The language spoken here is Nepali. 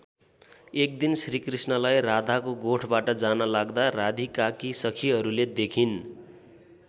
एक दिन श्रीकृष्णलाई राधाको गोठबाट जान लाग्दा राधिकाकी सखिहरूले देखिन्।